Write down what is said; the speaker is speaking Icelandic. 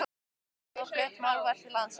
Ennþá eru þó flutt málverk til landsins.